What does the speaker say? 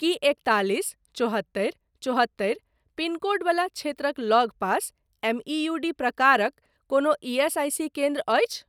की एकतालिस चौहत्तरि चौहत्तरि पिन कोड वला क्षेत्रक लगपास एमईयूडी प्रकारक कोनो ईएसआईसी केन्द्र अछि ?